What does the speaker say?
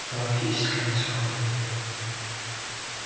галактическая энциклопедия